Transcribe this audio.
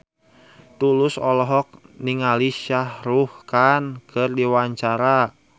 Tulus olohok ningali Shah Rukh Khan keur diwawancara